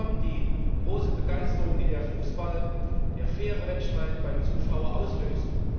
Hinzu kommt die große Begeisterung, die der Fußball, der faire Wettstreit, beim Zuschauer auslöst.